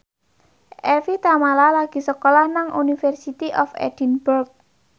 Evie Tamala lagi sekolah nang University of Edinburgh